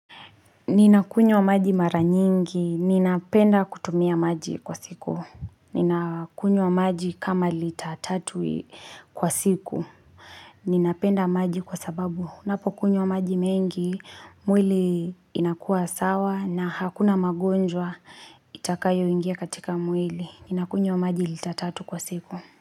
Ninakunywa maji mara nyingi. Ninapenda kutumia maji kwa siku. Ninakunywa maji kama litatatu kwa siku. Ninapenda maji kwa sababu. Ninapo kunywa maji mengi, mwili inakua sawa na hakuna magonjwa itakayo ingia katika mwili. Ninakunywa maji litatatu kwa siku.